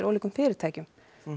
ólíkum fyrirtækjum